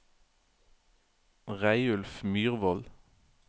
Reidulf Myhrvold